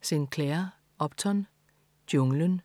Sinclair, Upton: Junglen